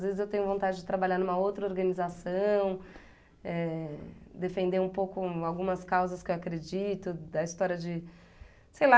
Às vezes eu tenho vontade de trabalhar numa outra organização, eh, defender um pouco algumas causas que eu acredito, da história de... Sei lá...